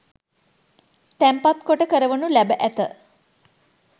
තැන්පත් කොට කරවනු ලැබ ඇත.